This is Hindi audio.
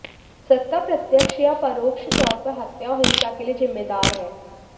सत्ता प्रत्यक्ष या परोक्ष तौर पर हत्या और हिंसा के लिए जिम्मेदार है